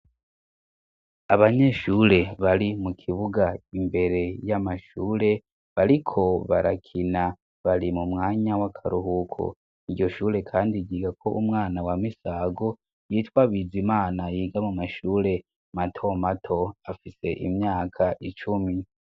Abanyeshure bari mu kibuga imbere y'amashure bariko barakina bari mu mwanya w'akaruhuko iryoshure kandi ryigako umwana wa misago yitwa bizimana yiga mu mashure matomato afise imyaka icumi.